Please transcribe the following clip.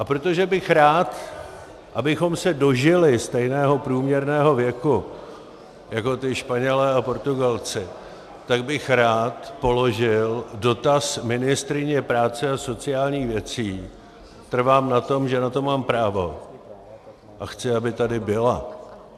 A protože bych rád, abychom se dožili stejného průměrného věku jako ti Španělé a Portugalci, tak bych rád položil dotaz ministryni práce a sociálních věcí - trvám na tom, že na to mám právo, a chci, aby tady byla.